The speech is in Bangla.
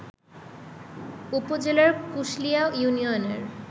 উপজেলার কুশলিয়া ইউনিয়নের